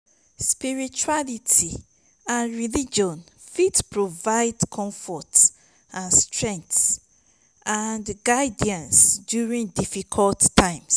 spirituality and religion fit provide comfort strength and guidance during difficult times.